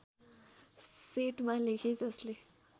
सेटमा लेखे जसले